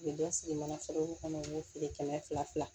U bɛ dɔ sigi manaforokow kɔnɔ u ye feere kɛmɛ fila fila